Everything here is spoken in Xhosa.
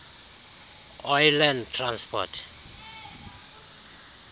oyi land transport